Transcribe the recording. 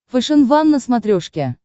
фэшен ван на смотрешке